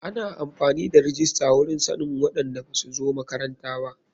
Ana amfani da rijista wurin sannin waɗanda basu zo makaranta ba.